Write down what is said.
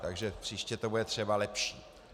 Takže příště to bude třeba lepší.